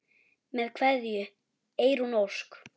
Með kveðju, Eyrún Ósk.